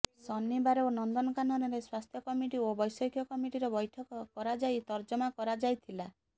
ଶନିବାର ନନ୍ଦନକାନନରେ ସ୍ବାସ୍ଥ୍ୟ କମିଟି ଓ ବ୘ଷୟିକ କମିଟିର ବ୘ଠକ କରାଯାଇ ତର୍ଜମା କରାଯାଇଥିଲା